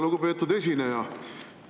Lugupeetud esineja!